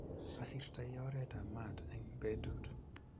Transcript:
Asirtoi oretab maat eng betut